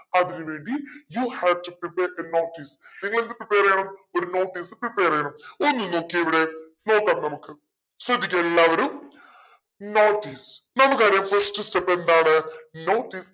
അതിനു വേണ്ടി you have to prepare a notice നിങ്ങളെന്ത് prepare ചെയ്യണം ഒരു notice prepare ചെയ്യണം ഇനി നോക്കിയേ ഇവിടെ നോക്കാം നമുക്ക് ശ്രദ്ധിക്കുക എല്ലാവരും notice നമുക്കറിയാം first step എന്താണ് notice